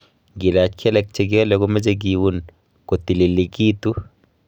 Ngilach kelek chekiale komeche kiun kotililigitu